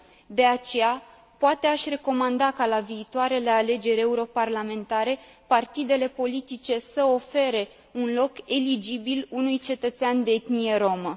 De aceea, poate aș recomanda ca, la viitoarele alegeri europarlamentare, partidele politice să ofere un loc eligibil unui cetățean de etnie romă.